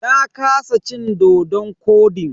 Na kasa cin dodon kodin.